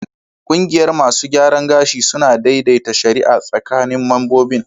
Kungiyar masu gyaran gashi suna daidaita shari'a tsakanin membobin